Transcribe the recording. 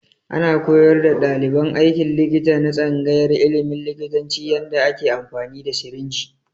Ana koyar da ɗaliban aikin likita na tsangayar ilimin likitanci yanda ake amfani da sirinji